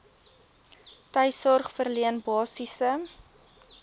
tuissorg verleen basiese